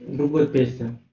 другую песню